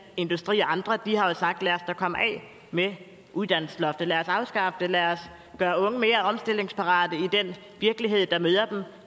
industri og andre de har jo sagt lad os da komme af med uddannelsesloftet lad os afskaffe det lad os gøre unge mere omstillingsparate i den virkelighed der møder dem